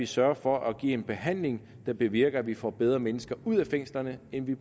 sørger for at give en behandling der bevirker at vi får bedre mennesker ud af fængslerne end vi